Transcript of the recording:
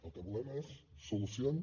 el que volem és solucions